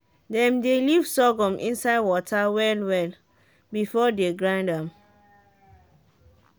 dem dey leave sorghum inside water well well before dey grind am